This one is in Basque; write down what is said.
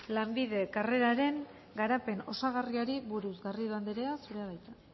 lanbide karreraren garapen osagarriari buruz garrido andrea zurea da hitza